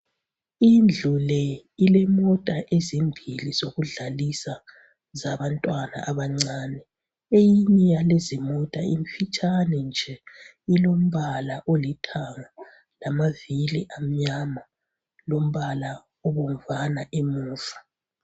Indlule ilemota ezimbili zokudlalisa zabantwana abancane eyinye yalezi mota imfitshane nje ilombala olithanga lamavili amnyama lombala obamvana emuva